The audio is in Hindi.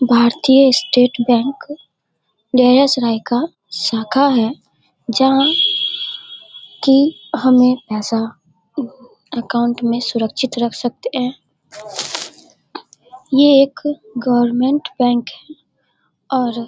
भारतीय स्टेट बैंक का शाखा है जहां की हम यह पैसा अकाउंट में सुरक्षित रख सकते हैं। ये एक गर्वनमेंट बैंक है और --